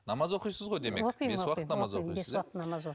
намаз оқисыз ғой демек